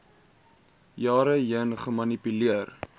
jare heen gemanipuleer